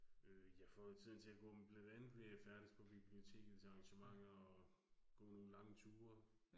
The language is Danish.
Øh jeg får jo tiden til at gå med blandt andet ved jeg færdes på biblioteket til arrangementer og gå nogle lange ture